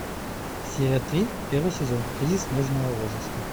серия три первый сезон кризис нежного возраста